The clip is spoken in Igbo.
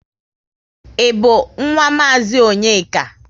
Ị bu nwa mazi Onyeka?